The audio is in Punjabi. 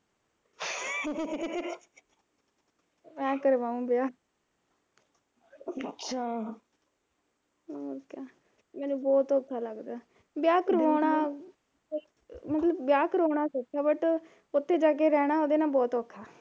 ਮੈਂ ਕਰਵਾਊ ਵਿਆਹ ਹੋਰ ਕਿਆ, ਮੈਨੂੰ ਬਹੁਤ ਔਖਾ ਲਗਦਾ, ਵਿਆਹ ਕਰਾਉਣਾ ਵਿਆਹ ਕਰਾਉਣਾ ਸੋਖਾ but ਉਥੇ ਜਾ ਕੇ ਰਹਿਣਾ ਉਹਦੇ ਨਾਲ ਬਹੁਤ ਔਖਾ